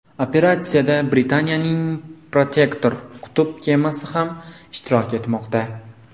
Operatsiyada Britaniyaning Protector qutb kemasi ham ishtirok etmoqda.